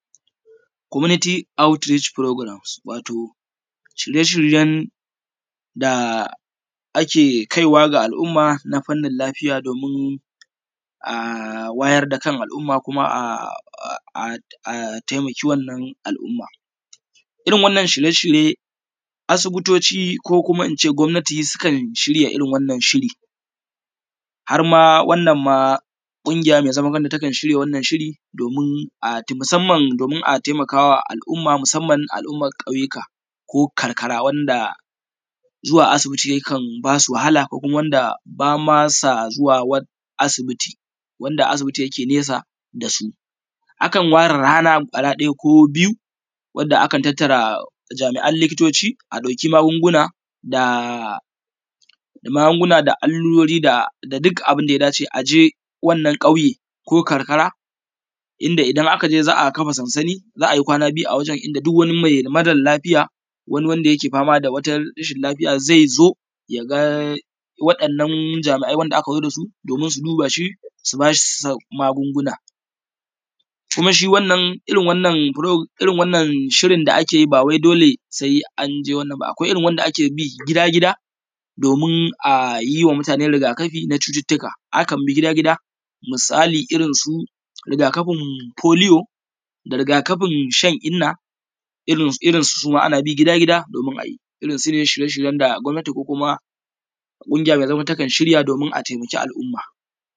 Komuniti aut rich furograms wato shirye-shiryen da ake yi ake kaiwa ga al’umma na fanin lafiya domin a wayar da kan al’umma kuma a taimaki wannan al’umma. Irin wannan shirye-shirye asibitoci ko kuma ince gomnati sukan shirya irin wannan shiri, harma wannan ma ƙungiya mai zaman kanta takan shirya wannan shiri domin a taimakawa al’umma, musamman al’umman ƙauyuka, ko karkara wanda zuwa asibiti ya kan basu wahala ko kuma wanda bama sa zuwa asibiti, wanda asibiti yake nesa dasu. Akan ware rana kwaya ɗaya ko biyu wadda akan tattara jami’a likitoci a ɗauki magunguna da allurori da duk abunda ya dace aje wannan kauye ko karkara inda idan aka je za a kafa sansani za ayi kwana biyu a wuri inda duk wani mare lafiya wani wanda yake fama da wata rashin lafiya zai zo yaga wa’innan jami’ai da aka zo dasu, domin su duba shi su bashi magunguna, kuma shi irin wannan furo, irin wannan shirin da ake yi ba wai dole sai anje wannan ba, akwai irin wanda ake bi gida-gida domin ayima mutane rigakafi na cututuka akan bi gida-gida. Misali irin su rigakafin foliyo da rigakafin shan inna, irinsu suma ana bi gida-gida domin. Irin su ne shirye-shiryen da gamnati ko ƙungiya mai zama takan shirya.ss